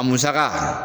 A musaka